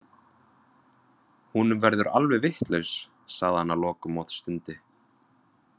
Hún verður alveg vitlaus, sagði hann að lokum og stundi.